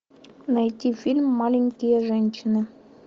найти фильм маленькие женщины